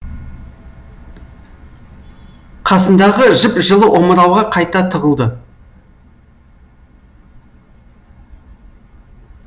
қасындағы жып жылы омырауға қайта тығылды